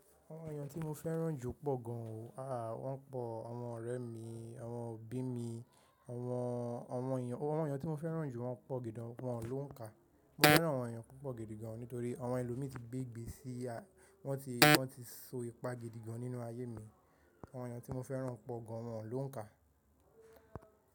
Àwọn èèyàn tí mo fẹ́ràn jù pọ̀ gan o. Aà, wọ́n pọ̀. Àwọn ọ̀rẹ́ mi, àwọn òbí mi, àwọn, àwọn èèyàn, àwọn èèyàn tí mo fẹ́ràn jù wọ́n pọ̀ gidi gan, wọ́n ló ń kà. Mo fẹ́ràn àwọn èèyàn púpọ̀ gidi gan nítorí àwọn ẹlòmí ti gbé ìgbésí, wọ́n ti, wọ́n ti so ipa gidi gan nínú ayé mi. Àwọn èèyàn tí mo fẹ́ràn pọ̀ gan, wọ́n ló ń kà.